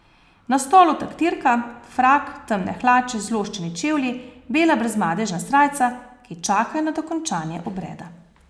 Na stolu taktirka, frak, temne hlače, zloščeni čevlji, bela brezmadežna srajca, ki čakajo na dokončanje obreda.